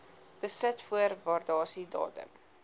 besit voor waardasiedatum